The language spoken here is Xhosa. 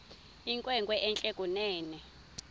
inkwenkwe entle kunene